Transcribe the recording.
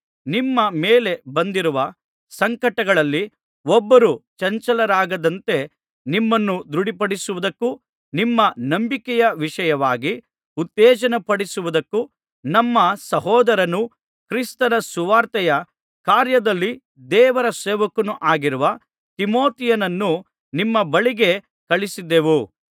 ನಿಮ್ಮ ಮೇಲೆ ಬಂದಿರುವ ಸಂಕಟಗಳಲ್ಲಿ ಒಬ್ಬರೂ ಚಂಚಲರಾಗದಂತೆ ನಿಮ್ಮನ್ನು ದೃಢಪಡಿಸುವುದಕ್ಕೂ ನಿಮ್ಮ ನಂಬಿಕೆಯ ವಿಷಯವಾಗಿ ಉತ್ತೇಜನಪಡಿಸುವುದಕ್ಕೂ ನಮ್ಮ ಸಹೋದರನೂ ಕ್ರಿಸ್ತನ ಸುವಾರ್ತೆಯ ಕಾರ್ಯದಲ್ಲಿ ದೇವರ ಸೇವಕನೂ ಆಗಿರುವ ತಿಮೊಥೆಯನನ್ನು ನಿಮ್ಮ ಬಳಿಗೆ ಕಳುಹಿಸಿದೆವು